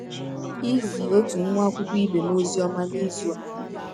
Izi ọtụ nwa akwụkwọ ibe m ọzi ọma n’izụ a.